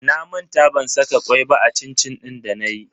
Na manta ban saka kwai ba a cin-cin din danayi.